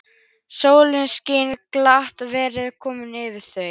Sólin skein glatt og værð kom yfir þau.